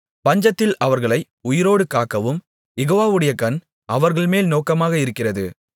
பஞ்சத்தில் அவர்களை உயிரோடு காக்கவும் யெகோவாவுடைய கண் அவர்கள்மேல் நோக்கமாக இருக்கிறது